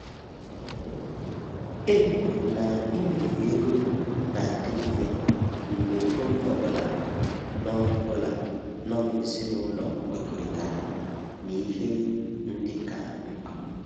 Ekwuru m na imefu ego na-adị mfe mgbe onye ọ bụla nọ bụla nọ n'ezinụlọ kwekọrịtara n'ihe ndị ka mkpa